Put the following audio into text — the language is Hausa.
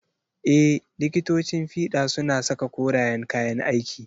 Ee, likitocin fiɗa suna saka koreyan kayan aiki.